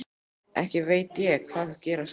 Ekki veit ég hvað gera skal.